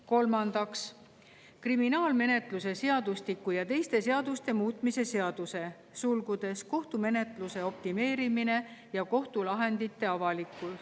Kolmandaks, kriminaalmenetluse seadustiku ja teiste seaduste muutmise seaduse eelnõu.